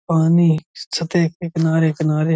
पानी सतह के किनारे-किनारे --